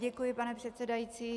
Děkuji, pane předsedající.